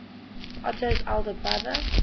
otto's elder brother